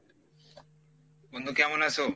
বন্ধু কেমন আছো?